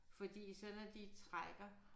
Fordi så når de trækker